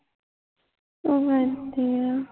ਉਹ ਇੱਥੇ ਈ ਆ